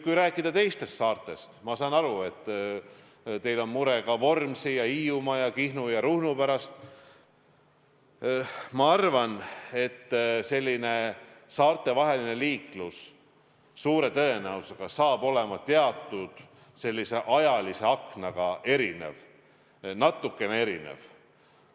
Kui rääkida teistest saartest – ma saan aru, et teil on mure ka Vormsi, Hiiumaa, Kihnu ja Ruhnu pärast –, siis ma arvan, et saartevaheline liiklus suure tõenäosusega saab olema teatud ajalise aknaga, natukene erinev.